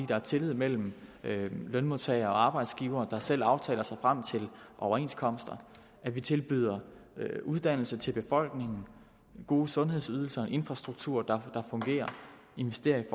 der er tillid mellem lønmodtagere og arbejdsgivere der selv aftaler sig frem til overenskomster vi tilbyder uddannelse til befolkningen gode sundhedsydelser infrastruktur der fungerer investeringer i